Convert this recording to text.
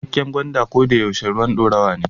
Cikakken gwanda ko da yaushe ruwan dorawa ne.